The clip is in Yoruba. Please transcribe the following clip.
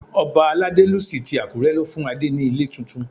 Ọba Aladelusi ti Àkúré ló fún Adé ní ilé tuntun.